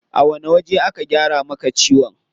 A wani waje aka gyara maka ciwon?